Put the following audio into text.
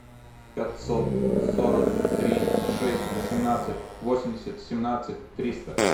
пятьсот сорок три шесть восемнадцать восемьдесят семнадцать триста